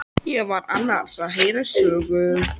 Ég var annars að heyra sögu.